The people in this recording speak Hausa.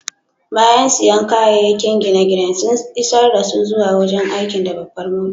Bayan siyan kayakin gine-ginen, sun isar dasu zuwa wurin aikin da babbar mota.